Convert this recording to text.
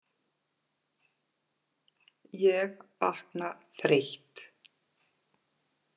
Ég vakna þreytt.